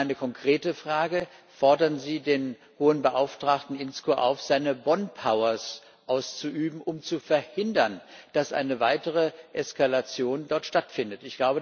Meine konkrete Frage Fordern Sie den Hohen Beauftragten Inzko auf, seine Bonn Powers auszuüben, um zu verhindern, dass dort eine weitere Eskalation stattfindet?